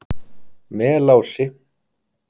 Melási